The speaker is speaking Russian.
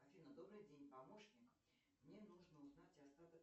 афина добрый день помощник мне нужно узнать остаток